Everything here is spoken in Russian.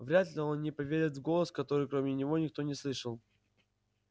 вряд ли он не поверит в голос который кроме него никто не слышал